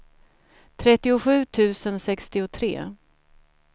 trettiosju tusen sextiotre